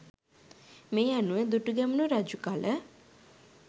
මේ අනුව දුටුගැමුණු රජු කල